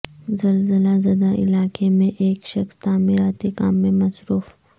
زلزلہ زدہ علاقے میں ایک شخص تعمیراتی کام میں مصروف